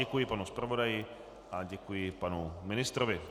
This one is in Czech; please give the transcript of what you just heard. Děkuji panu zpravodaji a děkuji panu ministrovi.